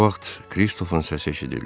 Bu vaxt Kristofun səsi eşidildi.